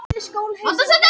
Garri